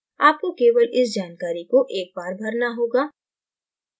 आपको केवल इस जानकारी को एक बार भरना होगा